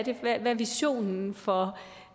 er visionen for